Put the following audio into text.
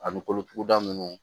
Ani kolotuguda ninnu